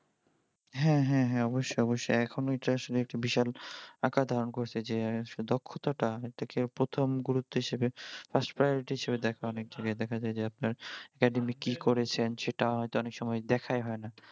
হ্যাঁ হ্যাঁ হ্যাঁ অবশ্যই অবশ্যই এখন ওঁইটা আসলে একটা বিশাল আকার ধারান করেছে যে দক্ষতা তা অনেকটা প্রথম গুরুত্ব হিসেবে first priority হিসেবে দ্যাখে অনেক যায়গাই দ্যাখা যাই যে আপনার academic কি করেছেন সেটা হইত অনেক সময় দ্যাখাই হয় না